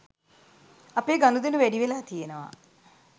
අපේ ගනුදෙනු වැඩිවෙලා තියෙනවා